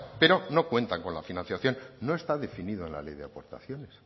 pero no cuentan con la financiación no está definido en la ley de aportaciones